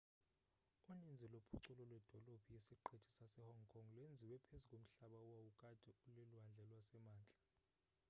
uninzi lophuculo lwedolophu yesiqithi sasehong kong lwenziwe phezu komhlaba owawukade ulilwandle lwasemantla